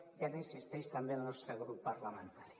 i ara hi insisteix també el nostre grup parlamentari